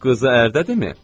Qızı ərdədimi?